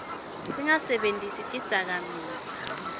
singatisebentisi tidzakamiva